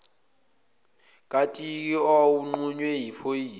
katiki owawunqunywe yiphoyisa